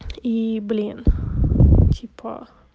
и блин типа